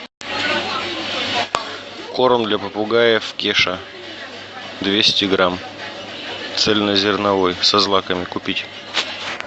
корм для попугаев кеша двести грамм цельнозерновой со злаками купить